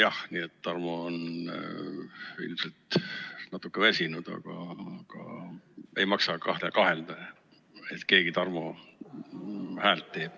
Nii et Tarmo on ilmselt natukene väsinud, aga ei maksa kahelda, et keegi Tarmo häält teeb.